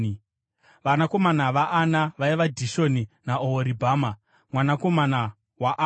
Vanakomana vaAna vaiva: Dishoni naOhoribhama, mwanakomana waAna.